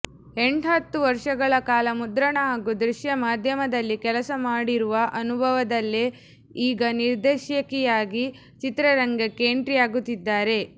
ಎಂಟ್ಹತ್ತು ವರ್ಷಗಳ ಕಾಲ ಮುದ್ರಣ ಹಾಗೂ ದೃಶ್ಯ ಮಾಧ್ಯಮದಲ್ಲಿ ಕೆಲಸ ಮಾಡಿರುವ ಅನುಭವದಲ್ಲೇ ಈಗ ನಿರ್ದೇಶಕಿಯಾಗಿ ಚಿತ್ರರಂಗಕ್ಕೆ ಎಂಟ್ರಿ ಆಗುತ್ತಿದ್ದಾರೆ